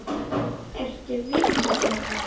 Ertu vitlaus Manni!